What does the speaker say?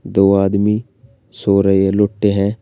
दो आदमी सो रहे ये लोटे हैं।